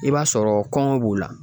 I b'a sɔrɔ kɔngɔ b'u la